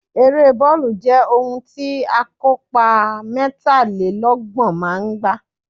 Ere bọọlu jẹ ohun ti akopa mẹtalelọgbọn maa n gba